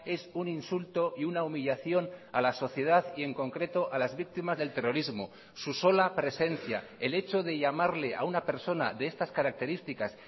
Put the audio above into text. es un insulto y una humillación a la sociedad y en concreto a las víctimas del terrorismo su sola presencia el hecho de llamarle a una persona de estas características